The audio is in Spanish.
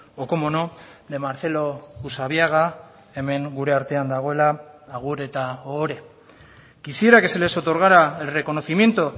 o cómo no de marcelo usabiaga hemen gure artean dagoela agur eta ohore quisiera que se les otorgara el reconocimiento